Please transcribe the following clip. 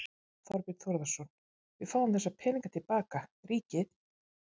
Þorbjörn Þórðarson: Við fáum þessa peninga til baka, ríkið?